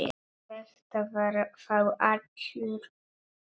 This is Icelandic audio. Þetta var þá allur galdur.